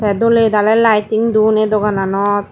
tey dole dale lighting don ei dogananot.